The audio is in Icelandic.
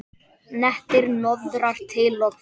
Nettir hnoðrar til og frá.